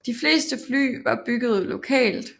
De fleste fly var bygget lokalt